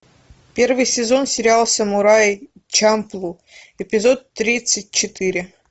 первый сезон сериал самурай чамплу эпизод тридцать четыре